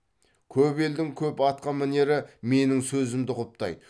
көп елдің көп атқамінері менің сөзімді құптайды